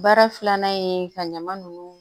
Baara filanan ye ka ɲama nunnu